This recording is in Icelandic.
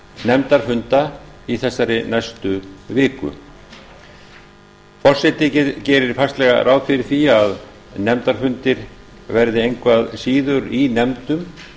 nefndarfunda í þessari næstu viku forseti gerir fastlega ráð fyrir því að nefndarfundir verði engu að síður í nefndum